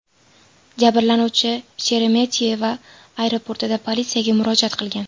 Jabrlanuvchi Sheremetyevo aeroportida politsiyaga murojaat qilgan.